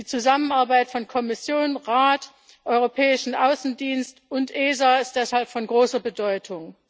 Die Zusammenarbeit von Kommission, Rat, Europäischem Auswärtigem Dienst und ESA ist deshalb von großer Bedeutung.